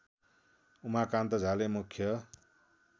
उमाकान्त झाले मुख्य